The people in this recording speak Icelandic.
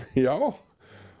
já